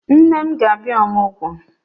Nne m ga-abia Ọmụgọ